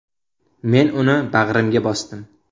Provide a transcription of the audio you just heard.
Men uni bag‘rimga bosdim.